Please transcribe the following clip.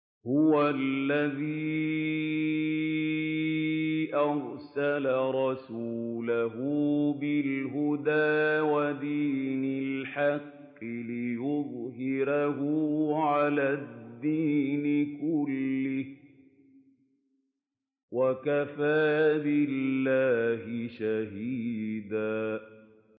هُوَ الَّذِي أَرْسَلَ رَسُولَهُ بِالْهُدَىٰ وَدِينِ الْحَقِّ لِيُظْهِرَهُ عَلَى الدِّينِ كُلِّهِ ۚ وَكَفَىٰ بِاللَّهِ شَهِيدًا